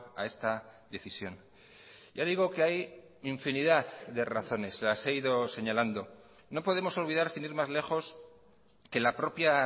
a esta decisión ya digo que hay infinidad de razones las he ido señalando no podemos olvidar sin ir más lejos que la propia